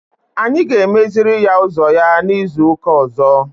Anyị ga-emeziri ya ụzọ ya izu ụka ọzọ.